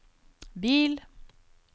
bil